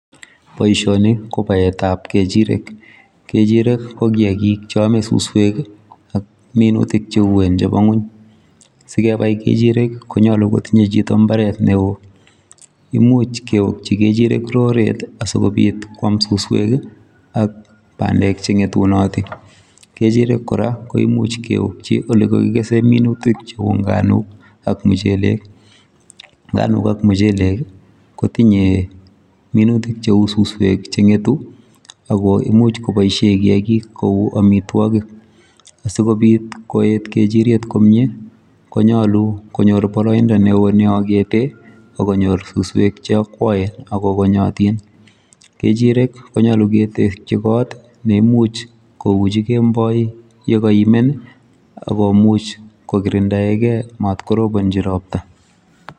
boishoni ko baeet ab kechirek, kechirek ko kiagik choome susweek iih minutik cheuween chebonguny, sigebai ngechirek konyolu itinye chito imbaaret neoo imuch keokchi kechirek roreet asigobiit kwaam susweek iih ak bandeek chengetunotin, kechirek koraa koimuch keokchi olegogigesen minutik cheuu nganuuk ak mucheleek, nganuuk ak muchelek iih kotinye minutik cheuu susweek chengetu ago imuch koboisyeen kiagiik kouu omitwogik, asigobiit koeet kechiriet komyee konyoor boroindo neoo neogeteen ak konyoor susweek cheokwoen ago konyotin, kechireek konyolu ketekchi koot neimuch kouuchi kemboi ye koimenn ak komuch kogirindoegee maat korobonchi ropta